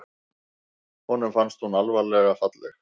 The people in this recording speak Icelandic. Honum fannst hún alvarlega falleg.